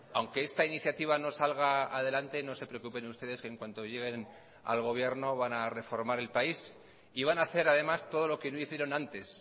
aunque esta iniciativa no salga adelante no se preocupen ustedes que en cuanto lleguen al gobierno van a reformar el país y van a hacer además todo lo que no hicieron antes